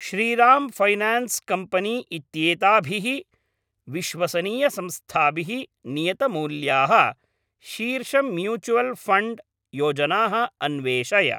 Shriram finance company इत्येताभिः विश्वसनीयसंस्थाभिः नियतमूल्याः शीर्षम्यूचुवल् फण्ड् योजनाः अन्वेषय।